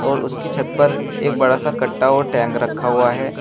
और उसकी छत पर एक बड़ा सा कटा और टैंक रखा हुआ है।